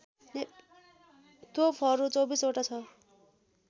तोपहरू २४ वटा ६